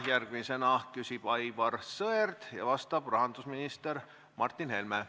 Järgmisena küsib Aivar Sõerd ja vastab rahandusminister Martin Helme.